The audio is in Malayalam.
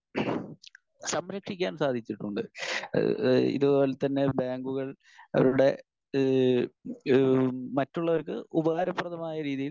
സ്പീക്കർ 1 സംരക്ഷിക്കാൻ സാധിച്ചിട്ടുണ്ട്. ഏഹ് ഏഹ് ഇതുപോലെതന്നെ ബാങ്കുകൾ അവരുടെ ഏഹ് ഏഹ് മറ്റുള്ളവർക്ക് ഉപകാരപ്രദമായ രീതിയിൽ